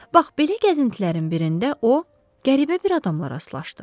Bax belə gəzintilərin birində o, qəribə bir adama rastlaşdı.